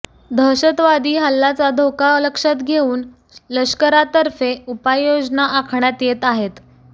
दहशवादी हल्लाचा धोका लक्षात घेऊन लष्करातर्फे उपाय योजना आखण्यात येत आहेत